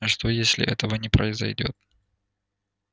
а что если этого не произойдёт